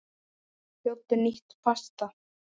Sjóddu nýtt pasta.